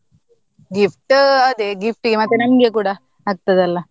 Gift ಅದೇ gift ಗೆ ಮತ್ತೆ ನಮ್ಗೆ ಕೂಡ ಆಗ್ತದಲ್ಲ.